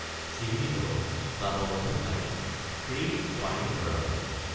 চিহ্নিত বা বন্ধ ঠাইত ফ্ৰী স্পাৰিং কৰা হয়।